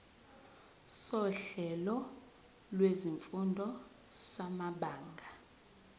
sohlelo lwezifundo samabanga